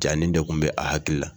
Jaa nin de kun be a hakiliki la.